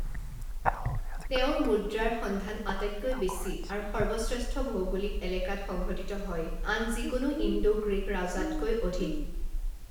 তেওঁৰ মুদ্ৰাৰ সন্ধান আটাইতকৈ বেছি আৰু সৰ্বশ্ৰেষ্ঠ ভৌগোলিক এলেকাত সংঘটিত হয় আন যিকোনো ইণ্ডো গ্ৰীক ৰজাতকৈ অধিক।